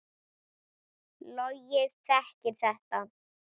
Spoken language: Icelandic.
Logi þekkir þetta.